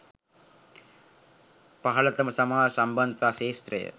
පහළතම සමාජ සම්බන්ධතා ක්ෂේත්‍රය